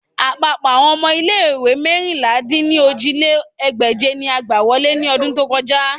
Apapọ awọn ọmọ ile-iwe meérinlá-dín-ní-ojì lé ní ẹgbẹ́je ni a gba wọle ni ọdun to kọja